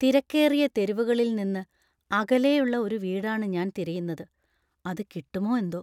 തിരക്കേറിയ തെരുവുകളിൽ നിന്ന് അകലെയുള്ള ഒരു വീടാണ് ഞാൻ തിരയുന്നത്, അത് കിട്ടുമോ എന്തോ!